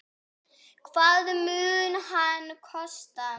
Hvað mun hann kosta?